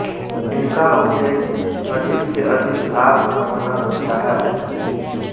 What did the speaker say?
इनका उद्देश्य अधिक से अधिक लाभ कमाना होता है